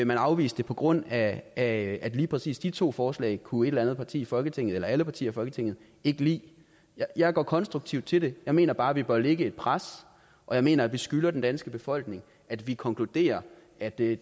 man afvise det på grund af at lige præcis de to forslag kunne et eller andet parti i folketinget eller alle partier i folketinget ikke lide jeg går konstruktivt til det jeg mener bare at vi bør lægge et pres og jeg mener at vi skylder den danske befolkning at vi konkluderer at det